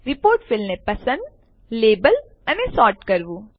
report fields ને પસંદ label અને સોર્ટ કરવું